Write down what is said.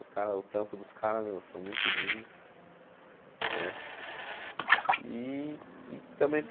Os cara o trampo dos caras, meu, são muito lindos, né? E e também